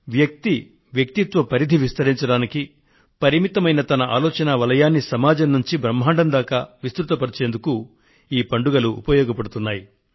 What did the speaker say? వ్యక్తి వ్యక్తిత్వ పరిధిని విస్తరించడానికి పరిమితమైన తన ఆలోచనా వలయాన్ని సమాజం నుండి బ్రహ్మాండం దాకా విస్తృతపరిచేందుకు ఈ పండుగలు ఉపయోగపడుతున్నాయి